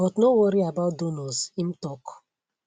but no worry about donors im tok